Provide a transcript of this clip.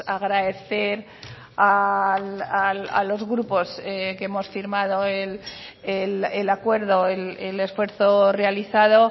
agradecer a los grupos que hemos firmado el acuerdo el esfuerzo realizado